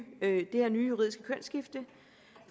juridiske kønsskifte